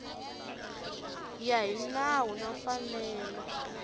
ya hi nawu na mfanelo